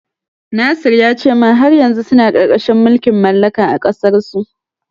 Nasir ya ce min har yanzu suna ƙarƙashin mulkin mallaka a ƙasarsu.